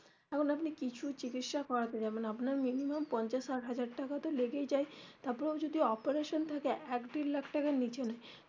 এখন আপনি কিছু চিকিৎসা করাতে যাবেন আপনার minimum পঞ্চাশ ষাট হাজার টাকা তো লেগেই যায় তারপর আবার যদি operation থাকে এক দেড় লাখ টাকার নীচে না.